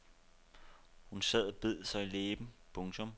Hun sad og bed sig i læben. punktum